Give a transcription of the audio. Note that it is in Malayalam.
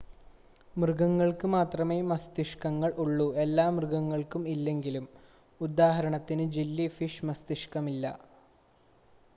മൃഗങ്ങൾക്ക് മാത്രമേ മസ്തിഷ്ക്കങ്ങൾ ഉള്ളൂ എല്ലാ മൃഗങ്ങൾക്കും ഇല്ലെങ്കിലും; ഉദാഹരണത്തിന് ജെല്ലി ഫിഷിന് മസ്തിഷ്ക്കമില്ല